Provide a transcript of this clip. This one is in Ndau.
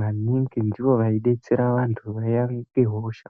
maningi ndivo vaidetsera vanthu vaiaite hosha.